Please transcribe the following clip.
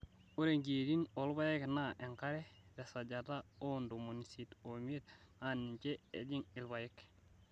Ore nkiyietin oolpayek naa enkare tesajata oo ntomoni isiet omiet naa ninje ejing' ilpayek.